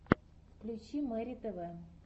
включи мэри тв